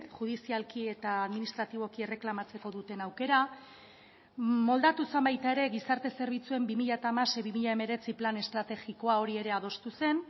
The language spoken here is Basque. judizialki eta administratiboki erreklamatzeko duten aukera moldatu zen baita ere gizarte zerbitzuen bi mila hamasei bi mila hemeretzi plan estrategikoa hori ere adostu zen